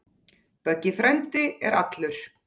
Böggi frændi er allur.